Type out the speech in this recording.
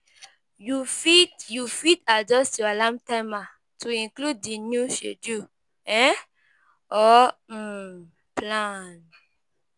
You fit You fit adjuyst your alarm timer to include the new schedule um or um plan